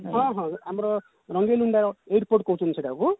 ହଁ ହଁ ଆମର ରଙ୍ଗେଇଲୁଣ୍ଡାର airport କହୁଛନ୍ତି ସେଟାକୁ